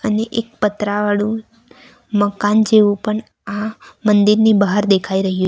એક પતરાવાળું મકાન જેવું પણ આ મંદિરની બહાર દેખાઈ રહ્યું --